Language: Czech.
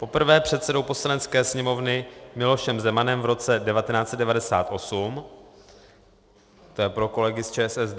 Poprvé předsedou Poslanecké sněmovny Milošem Zemanem v roce 1998 - to je pro kolegy z ČSSD.